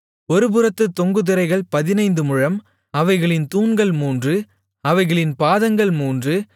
ஒருபுறத்துத் தொங்கு திரைகள் பதினைந்து முழம் அவைகளின் தூண்கள் மூன்று அவைகளின் பாதங்கள் மூன்று